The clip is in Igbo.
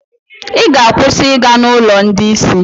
Ị ga-akwụsị ịga n'ụlọ ndị isi.